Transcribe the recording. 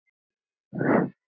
Húð Heiðu stinn og ung.